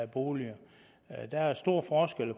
bolig der er store forskelle